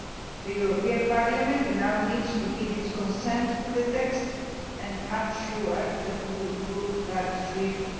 The European Parliament now needs to give its consent to the text and I am sure that it will do that swiftly.